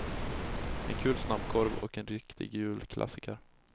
En kul snabbkorv och en riktig julklassiker.